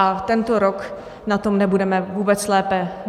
A tento rok na tom nebudeme vůbec lépe.